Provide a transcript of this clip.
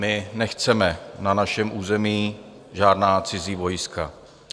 My nechceme na našem území žádná cizí vojska.